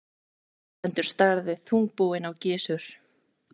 Erlendur starði þungbúinn á Gizur.